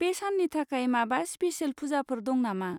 बे साननि थाखाय माबा स्पिसेल पुजाफोर दं नामा?